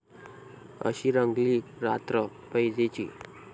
अशी रंगली रात्र पैजेची